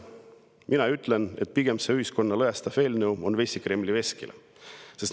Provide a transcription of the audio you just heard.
Mina ütlen, et see ühiskonda lõhestav eelnõu on pigem vesi Kremli veskile.